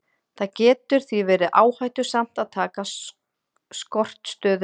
Það getur því verið áhættusamt að taka skortstöðu.